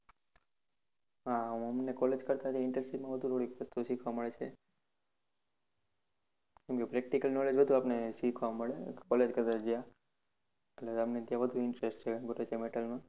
હા, અમને college કરતા જે internship માં થોડીક વધુ બધુ શીખવા મળે છે. કેમ કે practical knowledge માં બધુ શીખવા મળે college કરતા જ્યાં એટલે અમને ત્યાં વધુ interest છે gorecha metal માં.